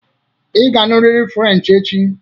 Ị ga-amụrịrị Frenchị echi!